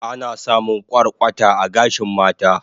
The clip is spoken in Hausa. Ana samun kwarkwata a gashin mata